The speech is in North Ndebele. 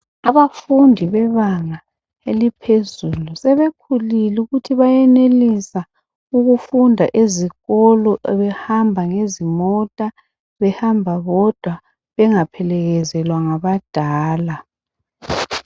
Abafundi bebanga eliphezulu sebekhulile ukuthi bayenelisa ukufunda ezikolo behamba ngezimota, behamba bodwa bengaphelekezelwa ngabadala.